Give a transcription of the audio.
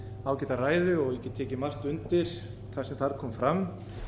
ágæta ræðu og ég get tekið undir margt sem þar kom fram